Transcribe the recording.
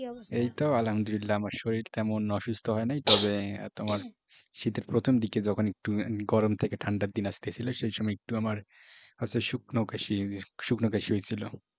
কি অবস্থা? এই তো আলহামদুলিল্লা আমার শরীর তেমন অসুস্থ হয় নাই তবে তোমার শীতের প্রথম দিকে যখন একটু গরম থেকে ঠাণ্ডার দিন আস্তেছিল সেই সময় একটু আমার হয়ত শুকো কাশি শুকো কাশি হইছিল।